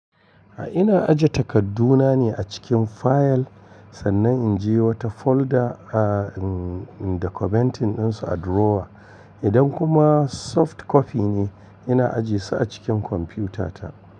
A ina aje takadduna ne a cikin fayil sannan in je wata folder a dokumentin ɗinsu a drawer. Idan kuma soft copy ne, ina ajiyesu a cikin kwamfutata.